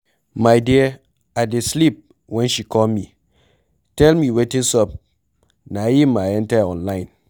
My dear, I dey sleep wen she call me tell me wetin sup na im I enter online